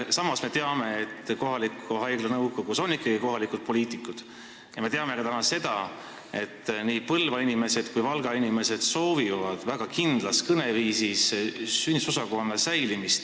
Samas me teame, et kohaliku haigla nõukogus on ikkagi kohalikud poliitikud, ja me teame täna ka seda, et nii Põlva inimesed kui Valga inimesed soovivad väga, et nende haigla sünnitusosakond jääks alles.